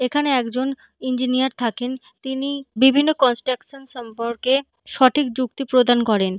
এখানে একজন ইঞ্জিনিয়ার থাকেন। তিনি বিভিন্ন কনস্ট্রাকশন সম্পর্কে সঠিক যুক্তি প্রদান করেন।